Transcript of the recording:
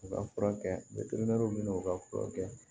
U ka furakɛ u ka furakɛ